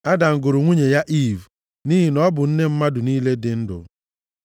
Adam + 3:20 Maọbụ, Nwoke ahụ gụrụ nwunye ya Iiv, + 3:20 Eleghị anya Iiv pụtara Ịdị ndụ nʼihi na ọ bụ nne mmadụ niile dị ndụ.